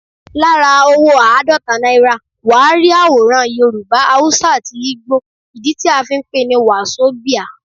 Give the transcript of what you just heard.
Lára owó àádọ́ta naira, wà á rí àwòrán Yorùbá, Haúsá àti Ìgbò, ìdí tí a fí ń pè ní Wàsobíà.